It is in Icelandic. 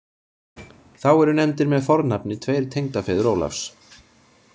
Þá eru nefndir með fornafni tveir tengdafeður Ólafs.